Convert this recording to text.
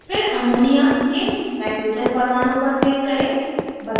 फिर ammonia के nitrogen परमाणु पर click करें